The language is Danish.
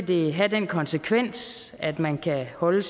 det have den konsekvens at man kan holde